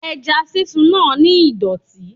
Ẹja sísun náà ni ìdọ̀tí.